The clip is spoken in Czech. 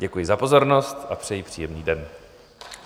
Děkuji za pozornost a přeji příjemný den.